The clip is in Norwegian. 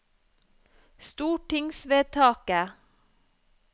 stortingsvedtaket